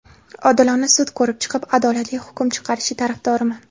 Odilona sud ko‘rib chiqib, adolatli hukm chiqarish tarafdoriman.